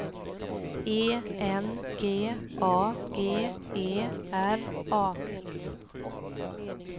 E N G A G E R A